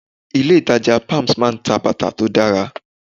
Ilé ìtàjà palms máa ń ta bàtà tó dára.